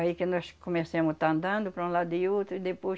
Aí que nós comecemos a estar andando para um lado e outro e depois